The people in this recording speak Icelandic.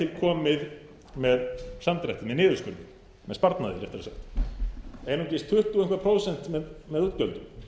komið með samdrætti með niðurskurði með sparnaði réttara sagt einungis tuttugu og eitthvað prósent með útgjöldum